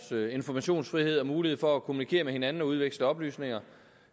informationsfrihed og mulighed for at kommunikere med hinanden og udveksle oplysninger